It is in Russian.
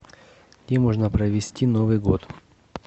где можно провести новый год